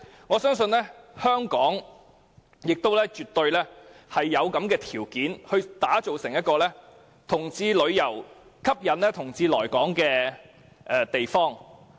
我相信香港亦絕對有條件吸引同志到來，打造成為歡迎同志旅遊的地方。